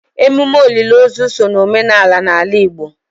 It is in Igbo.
emume olili ozu so na omenala n'ala Igbo.